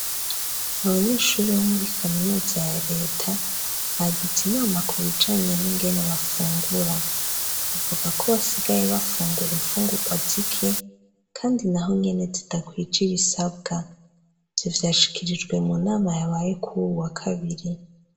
Abanyeshure bo muri kaminuza ya reta, bagize inama ku bijanye n'ingene bafungura. Bavuga ko basigaye bafungura imfungurwa zike kandi naho nyene zidakwije ibisabwa. Ivyo vyashikirijwe mu nama yabaye kuri uwu wa kabiri.